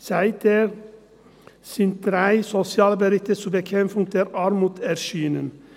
Seither sind drei Sozialberichte zur Bekämpfung der Armut erschienen.